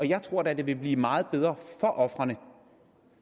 jeg tror da at det vil blive meget bedre for ofrene